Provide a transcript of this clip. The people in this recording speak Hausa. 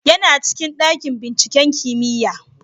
Yana cikin dakin binciken kimiyya